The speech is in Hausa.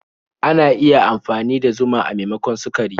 Ana iya amfani da zuma a maimakon sukari.